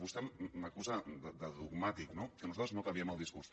vostè m’acusa de dogmàtic no que nosaltres no canviem el discurs